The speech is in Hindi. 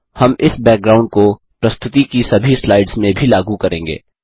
हम इस बैकग्राउंड को प्रस्तुति की सभी स्लाइड्स में भी लागू करेंगे